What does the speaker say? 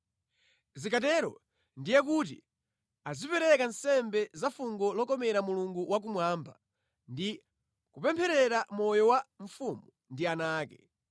Zikatero ndiye kuti azipereka nsembe za fungo lokomera Mulungu wakumwamba ndi kupempherera moyo wa mfumu ndi ana ake.